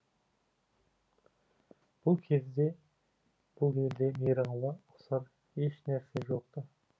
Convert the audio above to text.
бұл кезде бұл елде мейрамға ұқсар еш нәрсе жоқ ты